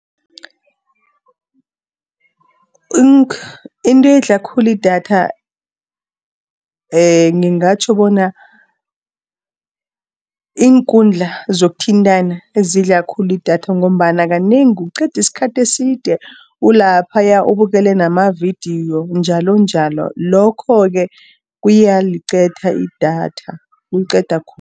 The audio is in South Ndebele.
Into edla khulu idatha ngingatjho bona, iinkundla zokuthintana ezidla khulu idatha ngombana kanengi uqeda isikhathi eside ulaphaya ubukele namavidiyo njalonjalo. Lokho-ke kuyaliqeda idatha, kuliqeda khulu.